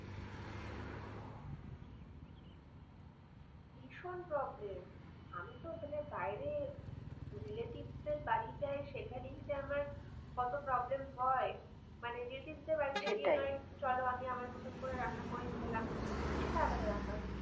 ভীষণ problem relative দের বাড়ি যাই সেখানে যে আমার কত problem হয় মানে relative সেটাই চলো আমি আমার মতন করে রান্না করে খেলাম সেইটা আলাদা ব্যাপার।